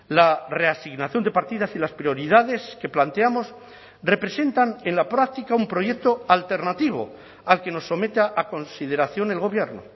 la reasignación de partidas y las prioridades que planteamos representan en la práctica un proyecto alternativo al que nos someta a consideración el gobierno